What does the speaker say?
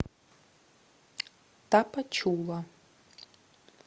тапачула